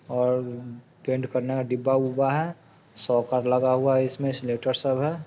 और train colour का डबा प अदा हुआ है सोर्कत लगा हुआ है।